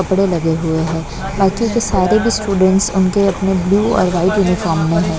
कपड़े लगे हुए हैं बाकी के सारे भी स्टूडेंट्स उनके अपने ब्लू और वाइट यूनिफॉर्म में है।